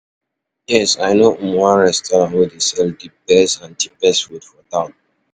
Yes, i know um one restaurant wey dey sell di best and cheapest food for town.